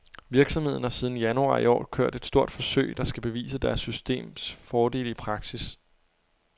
Virksomheden har siden januar i år kørt et stort forsøg, der skal bevise deres systems fordele i praksis.